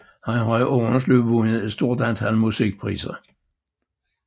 Han har i årenes løb vundet et stort antal musikpriser